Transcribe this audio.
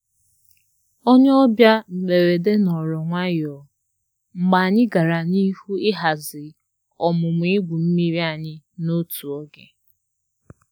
Onye ọbịa mgberede nọọrọ nwayọ mgbe anyị gara n'ihu ịhazi ọmụmụ ịgwu mmiri anyị na otu oge